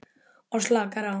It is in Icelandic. Og slakar á.